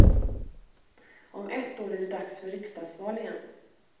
Om ett år är det dags för riksdagsval igen.